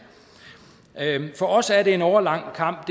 for os er det en årelang kamp